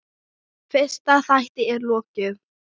Fyrsta þætti er lokið.